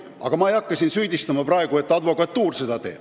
Aga ma ei hakka siin praegu süüdistama, et seda teeb advokatuur.